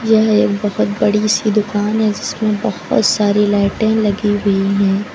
यह एक बहोत बड़ी सी दुकान है जिसमें बहुत सारी लाइटें लगी हुई है।